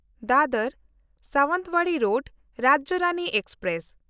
Dadar Sawantwadi road Rajya Rani express